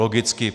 Logicky.